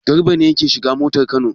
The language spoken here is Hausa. Garba ne yake shiga motar Kano.